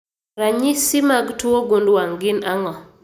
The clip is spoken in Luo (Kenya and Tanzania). Ranyisi mag tuo gund wang' gin ang'o?